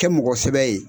Kɛ mɔgɔ sɛbɛ ye